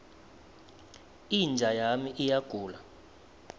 inja yami iyagula